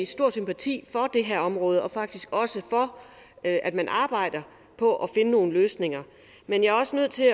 stor sympati for det her område og faktisk også for at at man arbejder på at finde nogle løsninger men jeg er også nødt til